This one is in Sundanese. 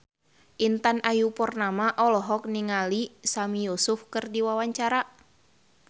Intan Ayu Purnama olohok ningali Sami Yusuf keur diwawancara